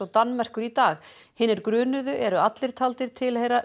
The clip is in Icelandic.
Danmerkur í dag hinir grunuðu eru allir taldir tilheyra